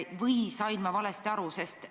Või sain ma valesti aru?